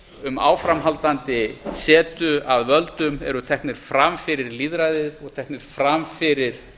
um áframhaldandi setu að völdum eru teknir fram fyrir lýðræðið og teknir fram fyrir